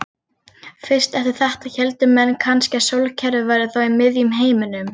Fyrst eftir þetta héldu menn kannski að sólkerfið væri þá í miðjum heiminum.